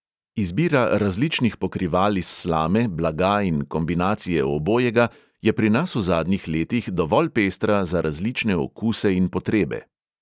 Izbira različnih pokrival iz slame, blaga in kombinacije obojega je pri nas v zadnjih letih dovolj pestra za različne okuse in potrebe.